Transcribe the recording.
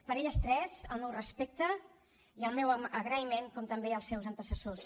per elles tres el meu respecte i el meu agraïment com també als seus antecessors